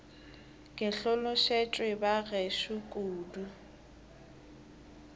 ke hlolosetšwe ba gešo kudu